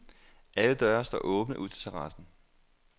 Alle døre står åbne ud til terassen.